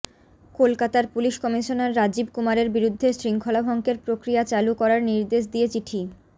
কলকাতার police commissioner Rajiv কুমারের বিরুদ্ধে শৃঙ্খলাভঙ্গের প্রক্রিয়া চালু করার নির্দেশ দিয়ে চিঠি